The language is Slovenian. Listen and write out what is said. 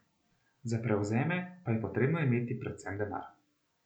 Za prevzeme pa je potrebno imeti predvsem denar.